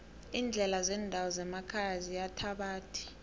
iindlela zendawo zemakhaya ziyithabathi